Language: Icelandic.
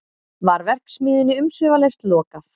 Var verksmiðjunni umsvifalaust lokað